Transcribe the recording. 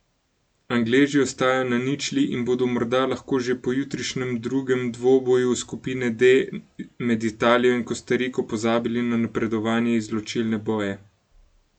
Angleži ostajajo na ničli in bodo morda lahko že po jutrišnjem drugem dvoboju skupine D med Italijo in Kostariko pozabili na napredovanje v izločilne boje.